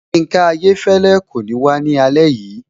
Yinka Ayéfẹ́lẹ́ kò ní wá ní alẹ́ yìí